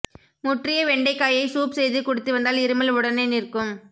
முற்றிய வெண்டைக்காயை சூப் செய்து குடித்து வந்தால் இருமல் உடனே நிற்கும்